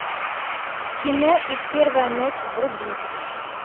кино их первая ночь вруби